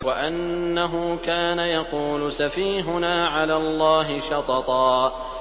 وَأَنَّهُ كَانَ يَقُولُ سَفِيهُنَا عَلَى اللَّهِ شَطَطًا